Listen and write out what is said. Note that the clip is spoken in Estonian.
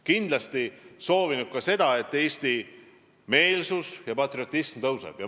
Kindlasti oleme soovinud ka seda, et eestimeelsus ja Eesti patriotism seal tugevneks.